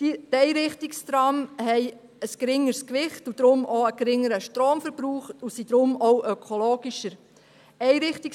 Einrichtungstrams haben ein geringeres Gewicht, somit auch einen geringeren Stromverbrauch, weshalb sie auch ökologischer sind.